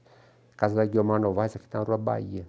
A casa da Guilherme Novaes aqui na Rua Bahia.